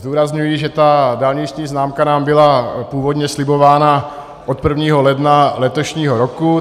Zdůrazňuji, že ta dálniční známka nám byla původně slibována od 1. ledna letošního roku.